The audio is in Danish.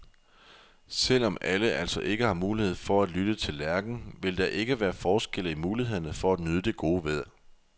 Selv om alle altså ikke har mulighed for at lytte til lærken, vil der ikke være forskelle i mulighederne for at nyde det gode vejr.